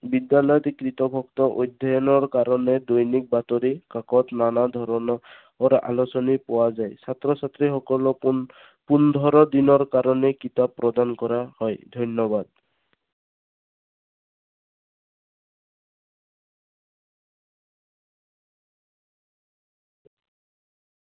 বিদ্যালয়ত অধ্যয়নৰ কাৰণে দৈনিক বাতৰিকাকত, নানা ধৰণৰ আলোচনী পোৱা যায়। ছাত্ৰ ছাত্ৰীসকলক পোন~পোন্ধৰ দিনৰ কাৰণে কিতাপ প্ৰদান কৰা হয়। ধন্যবাদ।